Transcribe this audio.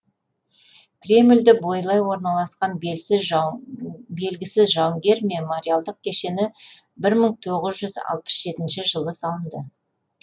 кремльді бойлай орналасқан белгісіз жауынгер бейіті мемориалдық кешені бір мың тоғыз алпыс жетінші жылы салынды